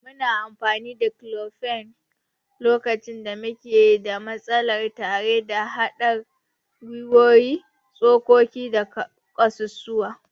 Muna amfani da declofenac lokacin da muke da matsala tare da mahaɗar gwiwowi, tsokoki da ƙasusuwa.